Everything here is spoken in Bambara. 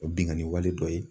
O ye binkani wale dɔ ye.